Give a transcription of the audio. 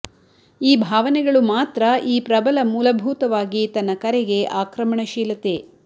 ಈ ಭಾವನೆಗಳು ಮಾತ್ರ ಈ ಪ್ರಬಲ ಮೂಲಭೂತವಾಗಿ ತನ್ನ ಕರೆಗೆ ಆಕ್ರಮಣಶೀಲತೆ